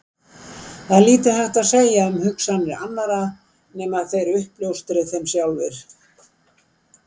Það er lítið hægt að segja um hugsanir annarra nema þeir uppljóstri þeim sjálfir.